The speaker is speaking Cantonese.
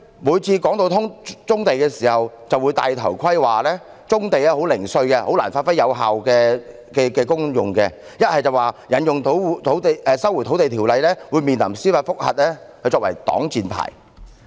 每次談到棕地，政府就會"戴頭盔"，說棕地十分零碎，難以發揮有效功用，又或表示引用《收回土地條例》會面臨司法覆核，以此作擋箭牌。